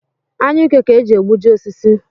Anyụike ka e ji egbuji osisi